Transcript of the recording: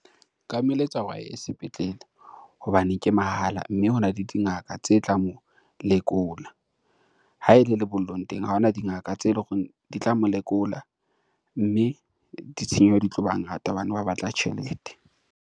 Nka mo eletsa hore a ye sepetlele hobane ke mahala, mme hona le dingaka tse tla mo lekola. Ha ele lebollong teng ha hona dingaka tse le horeng di tla mo lekola, mme ditshenyehelo di tlo ba ngata hobane ba batla tjhelete.